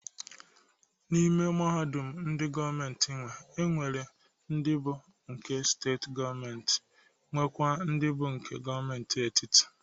N'ime mahadum ndị gọọmentị nwe, e nwere ndị bụ nke steetị gọọmentị nwekwa ndị bụ nke gọọmentị etiti.